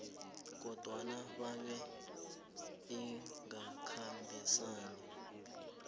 kodwana bebe ingakhambisani